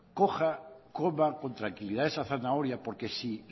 coma con tranquilidad esa zanahoria porque si